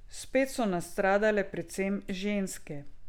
Spet so nastradale predvsem ženske.